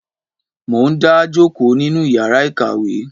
Mo n dá jòkó nínú yàrá ìkàwé.